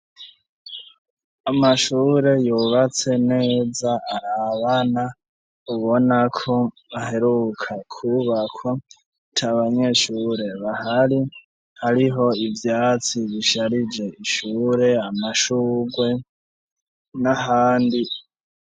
amashure yubatse neza arabana, ubona ko aheruka kubakwa, atabanyeshure bahari, hariho ivyatsi bisharije ishure amashugwe n'ahandi.